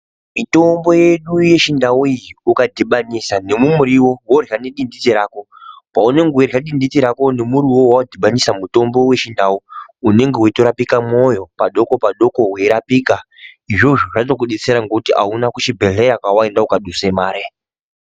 Mitombo yedu yechindau iyi ,ukatodhibanisa nemumuriwo ,worya nedindite rako paunenge weirya dindite rako iroro nemutombo waunenge wadhibanisa wechindau ,unenge weitorapika mwoyo padoko padoko weirapika. Izvozvo zvokudetsera kuti auna kuchibhehleya kwawaenda ukandoduse mare.